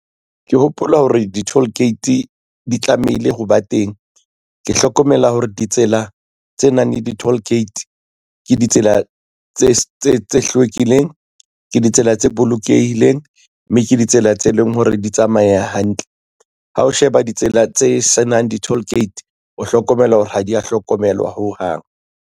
Ke hopola hore di-toll gate di tlamehile ho ba teng ke hlokomela hore ditsela tse nang le di-toll gate ke ditsela tse hlwekileng ke ditsela tse bolokehileng mme ke ditsela tse leng hore di tsamaye hantle. Ha o sheba ditsela tse senang di-toll gate o hlokomela hore ha di ya hlokomelwa ho hang.